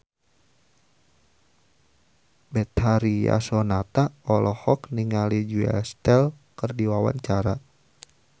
Betharia Sonata olohok ningali Julia Stiles keur diwawancara